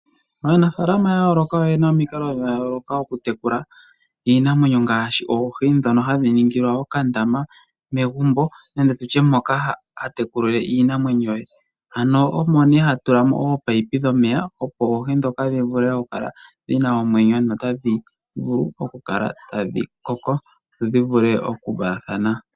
Aanafaalama yayooloka oyena omikalo dhayooloka okutekula iinamwenyo ngaashi oohi ndhono hadhi ningilwa okandama megumbo nenge mehala moka haya kekulile iinamwenyo. Ano ohamu tulwa ominino dhomeya opo oohi dhivule okukala dhina omwenyo no tadhi vulu okukala tadhi koko dhi vule okuvalathana.